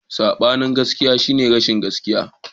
Sabanin gaskiya shine rashin gaskiya.